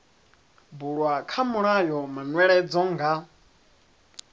bulwa kha mulayo manweledzo nga